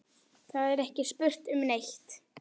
Það er ekki spurt um neitt.